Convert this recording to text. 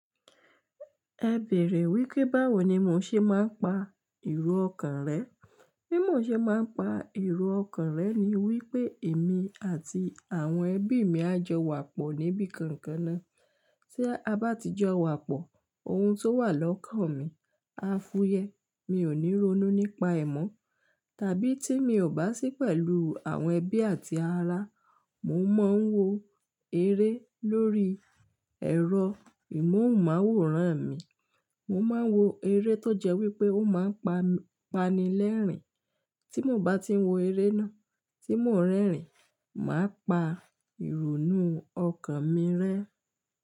Ẹ bèrè wípé báwo ni mo ṣe máa ń pa ìro ọkàn rẹ? Bí mo ṣe máa ń pa ìro ọkàn rẹ ni wípé èmi àti àwọn ẹbí mi á jọ wà pọ̀ níbi kankan ná. Tí a bá ti jọ wà pọ̀, ohun tó wà lọ́kàn mi á fúyẹ́. Mi ò ní ronú nípa ẹ̀ mọ́. Tàbí tí mi ò bá sí pẹ̀lú àwọn ẹbí àti ará, mo máa ń wo eré lórí ẹ̀rọ ìmóhùnmáwòrán mi. Mo máa ń wo eré tó jẹ́ wípé ó máa ń pani lẹ́rìn. Tí mo bá ti wo eré náà tí mò ń rẹ́rìn, màá pa ìronú ọkàn mi rẹ́.